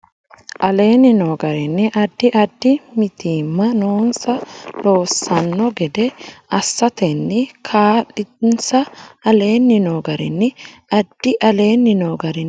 aleenni noo garinni Addi addi mitiimma noonsa loossanno gede assatenni kaa linsa aleenni noo garinni Addi aleenni noo garinni Addi.